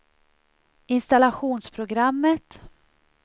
installationsprogrammet